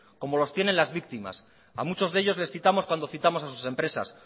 como los tienen las víctimas a muchos de ellos les citamos cuando citamos a sus empresas